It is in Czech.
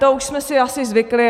To už jsme si asi zvykli.